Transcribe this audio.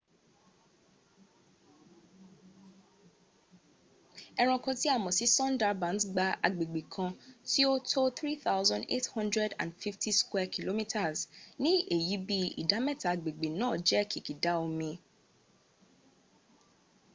ẹranko tí a mọ̀ sí sundarbans gba agbègbè kan tí ó ó tó 3,850 km² ní èyí bí ìdámẹ́ta agbègbè náà jẹ́ kìkìdá omi/ir